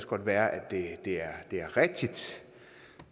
godt være at det er det er rigtigt